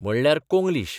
म्हणल्यार कोंग्लीश.